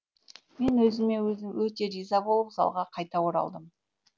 мен өзіме өзім өте риза болып залға қайта оралдым